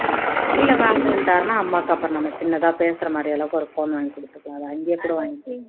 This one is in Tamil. இல்ல வேண்டான்னுட்டாருன்னா அம்மாக்கு அப்பறம் நம்ம சின்னதா பேசுற மாதிரி அளவுக்கு ஒரு phone வாங்கி கொடுத்துக்கலாம் அதை அங்கேயே கூட வாங்கிக்கலாம்